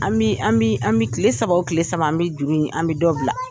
An mi an mi an mi kile saba o kile saba an bɛ juru in an bɛ dɔ bila.